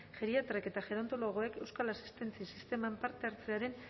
geriatrek eta gerontologoek euskal asistentzia sisteman parte hartzearen